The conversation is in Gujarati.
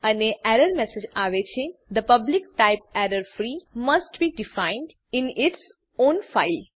અને એરર મેસેજ આવે છે the public type error free must be defined in its own file